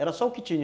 Era só o que tinha.